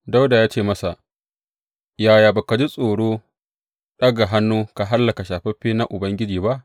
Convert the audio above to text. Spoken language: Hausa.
Dawuda ya ce masa, Yaya ba ka ji tsoro ɗaga hannu ka hallaka shafaffe na Ubangiji ba?